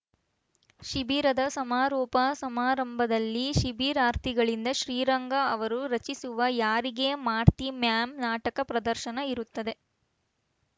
ಶಿಬಿರದ ಸಮಾರೋಪ ಸಮಾರಂಭದಲ್ಲಿ ಶಿಬಿರಾರ್ಥಿಗಳಿಂದ ಶ್ರೀರಂಗ ಅವರು ರಚಿಸಿರುವ ಯಾರಿಗೆ ಮಾಡ್ತೀ ಮ್ಯಾಂ ನಾಟಕ ಪ್ರದರ್ಶನ ಇರುತ್ತದೆ